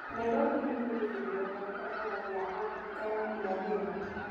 Nairobi nĩ kĩgucĩrĩrio kĩa biashara kĩa Abirika ya Irathĩro.